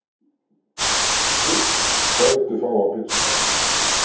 fisk Hvað vilt þú fá á pizzuna þína?